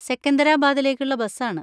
സെക്കന്തരാബാദിലേക്കുള്ള ബസാണ്.